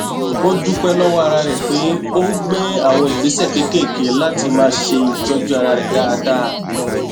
ó dúpẹ lọwọ ara rẹ pé ó gbé àwọn ìgbésẹ kéékèèké láti máa ṣe ìtọjú ara rẹ dáadáa